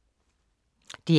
DR K